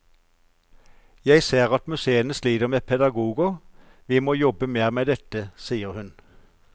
Jeg ser at museene sliter med pedagoger, vi må jobbe mer med dette, sier hun.